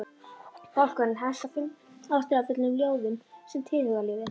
Bálkurinn hefst á fimm ástríðufullum ljóðum um tilhugalífið.